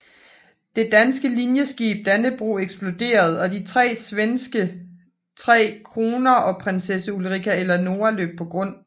Det danske linjeskib Dannebroge eksploderede og de to svenske Tre Kronor og Prinsessan Ulrika Eleonora løb på grund